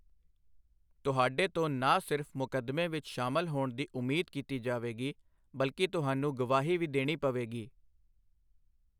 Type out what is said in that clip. ਤੁਹਾਡੇ ਤੋਂ ਨਾ ਸਿਰਫ ਮੁਕੱਦਮੇ ਵਿੱਚ ਸ਼ਾਮਲ ਹੋਣ ਦੀ ਉਮੀਦ ਕੀਤੀ ਜਾਵੇਗੀ, ਬਲਕਿ ਤੁਹਾਨੂੰ ਗਵਾਹੀ ਵੀ ਦੇਣੀ ਪਵੇਗੀ।